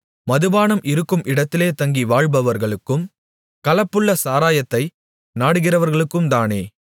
மதுபானம் இருக்கும் இடத்திலே தங்கி வாழ்பவர்களுக்கும் கலப்புள்ள சாராயத்தை நாடுகிறவர்களுக்கும்தானே